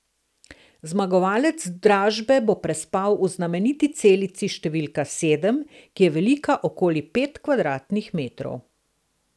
Zmagovalec dražbe bo prespal v znameniti celici številka sedem, ki je velika okoli pet kvadratnih metrov.